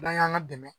N'an y'an ka dɛmɛ